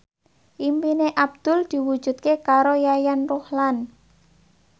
impine Abdul diwujudke karo Yayan Ruhlan